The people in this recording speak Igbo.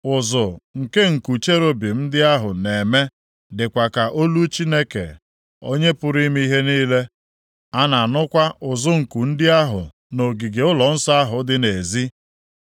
Ụzụ nke nku cherubim ndị ahụ na-eme dịkwa ka olu Chineke Onye pụrụ ime ihe niile. A na-anụkwa ụzụ nku ndị ahụ nʼogige ụlọnsọ ahụ dị nʼezi.